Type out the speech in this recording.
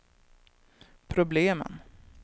problemen